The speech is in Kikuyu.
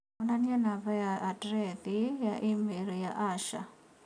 Onanĩa namba na andirethi ya i-mīrū ya Asha